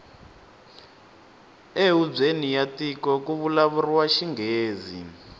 e hubyeni ya tiko kuvulavuriwa xingghezi